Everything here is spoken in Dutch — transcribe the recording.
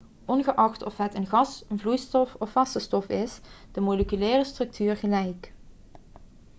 ongeacht of het een gas vloeistof of vaste stof is is de moleculaire structuur gelijk